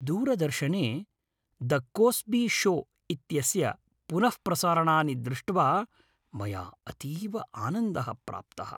दूरदर्शने "the Cosby show" इत्यस्य पुनःप्रसारणानि दृष्ट्वा मया अतीव आनन्दः प्राप्तः।